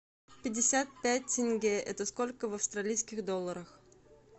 пятьдесят пять тенге это сколько в австралийских долларах